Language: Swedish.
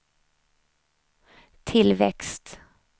tillväxt